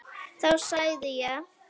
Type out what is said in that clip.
Þá segði ég: